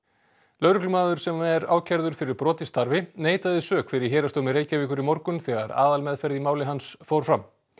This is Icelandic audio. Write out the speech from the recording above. lögreglumaður sem er ákærður fyrir brot í starfi neitaði sök fyrir Héraðsdómi Reykjavíkur í morgun þegar aðalmeðferð í máli hans fór fram